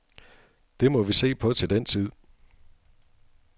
Det må vi se på til den tid.